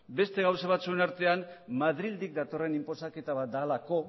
beste gauza batzuen artean madrildik datorren inposaketa bat delako